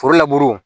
Foro laburu